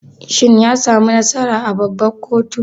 Shin yasamu nasara a babban koto?